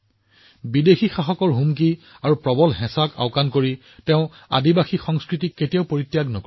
বিদেশী শাসনে তেওঁলোকক কিমান ভাবুকি আৰু চাপ দিছিল কিন্তু তেওঁলোকে জনজাতীয় সংস্কৃতি এৰি দিয়া নাছিল